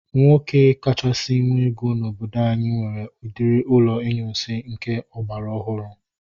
Nwoke kachasị nwe ego n'obodo anyị nwere udiri ụlọ inyunsi nke agbara ọhụrụ